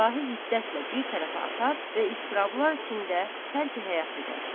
Silahı hiddətlə bir tərəfə atar və iztirablar içində tərki həyat edər.